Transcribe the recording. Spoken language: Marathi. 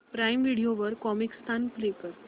प्राईम व्हिडिओ वर कॉमिकस्तान प्ले कर